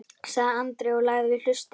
sagði Andri og lagði við hlustir.